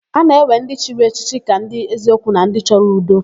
A na-ewe ndị chiri echichi ka ndị eziokwu na ndị chọrọ udo.